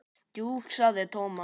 Jú sagði Thomas.